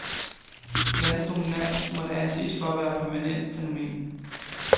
Landets dominans måtte anses for at være et permanent fænomen.